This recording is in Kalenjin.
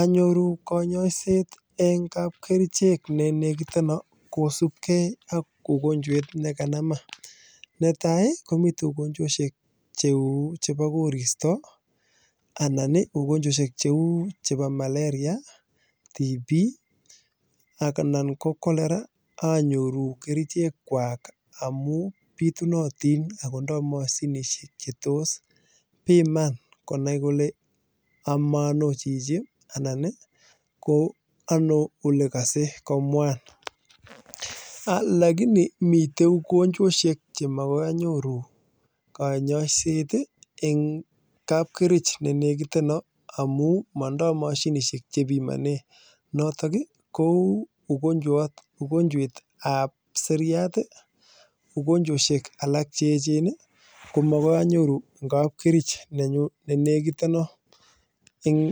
Anyoruu konyoset kosubkee ak ugonjwet ne kanamaa netai ii ko ugonjwet ab koristo anan ko malaria TB anan ko choleraa kobitunatin lakini mitei ugonjwoshek cheuu nebo siriat ko makoi anyoruu eng